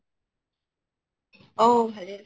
অহ ভালে আছো